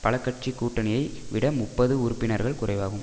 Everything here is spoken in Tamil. பலகட்சி கூட்டணியை விட முப்பது உறுப்பினர்கள் குறைவாகும்